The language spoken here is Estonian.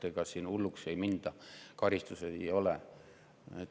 Seega, hulluks ei minda, karistusi ei ole.